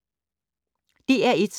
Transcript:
DR1